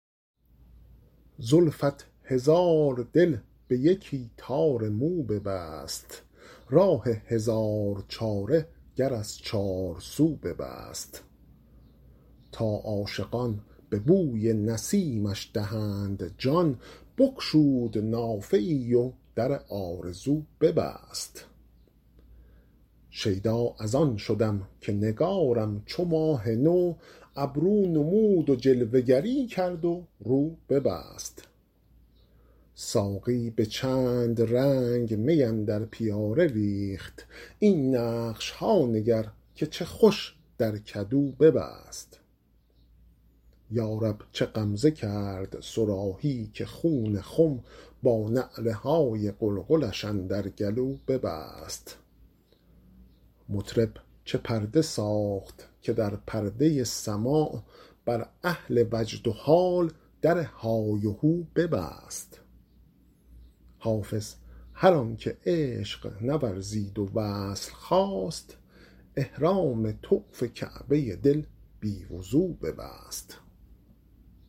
زلفت هزار دل به یکی تار مو ببست راه هزار چاره گر از چارسو ببست تا عاشقان به بوی نسیمش دهند جان بگشود نافه ای و در آرزو ببست شیدا از آن شدم که نگارم چو ماه نو ابرو نمود و جلوه گری کرد و رو ببست ساقی به چند رنگ می اندر پیاله ریخت این نقش ها نگر که چه خوش در کدو ببست یا رب چه غمزه کرد صراحی که خون خم با نعره های قلقلش اندر گلو ببست مطرب چه پرده ساخت که در پرده سماع بر اهل وجد و حال در های وهو ببست حافظ هر آن که عشق نورزید و وصل خواست احرام طوف کعبه دل بی وضو ببست